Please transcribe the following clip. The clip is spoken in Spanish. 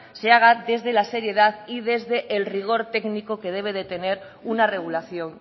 se haga desde la seriedad y desde el rigor técnico que debe de tener una regulación